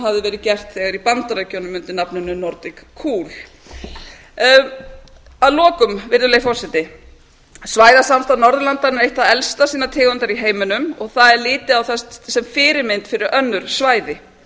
hafði verið gert þegar í bandaríkjunum undir nafninu nordic cool að lokum virðulegi forseti svæðasamstarf norðurlandanna er eitt það elsta sinnar tegundar í heiminum og það er litið á það sem fyrirmynd fyrir önnur svæði